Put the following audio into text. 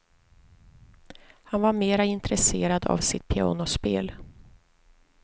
Han var mera intresserad av sitt pianospel.